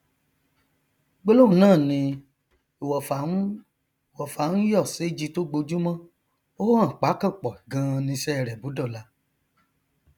gbólóhùn náà ni ìwọfà ń ìwọfà ń yọ séji tó gbojúmọ ó hàn pákànpọ ganan niṣẹ rẹ bó dọla